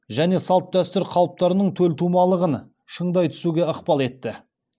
және салт дәстүр қалыптарының төлтумалығын шыңдай түсуге ықпал етті